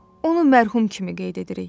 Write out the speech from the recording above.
Onu mərhum kimi qeyd edirik.